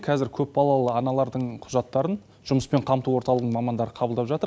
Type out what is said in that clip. қазір көпбалалы аналардың құжаттарын жұмыспен қамту орталығының мамандары қабылдап жатыр